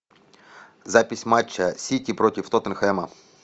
запись матча сити против тоттенхэма